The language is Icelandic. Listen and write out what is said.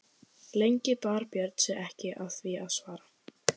Lengi bar Björn sig ekki að því að svara.